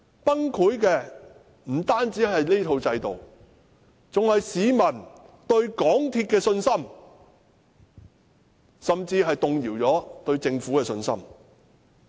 崩潰的不單是這套制度，還有市民對港鐵公司的信心，甚至亦動搖了市民對政府的信心。